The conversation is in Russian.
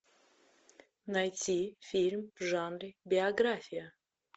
найти фильм в жанре биография